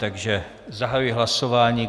Takže zahajuji hlasování.